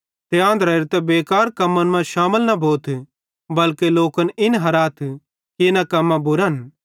ते आंधरेरां ते बेकार कम्मन मां शामिल न भोथ बल्के लोकन इन हिराथ कि इना कम्मां बुरन